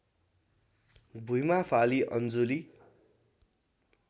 भुइँमा फाली अञ्जुली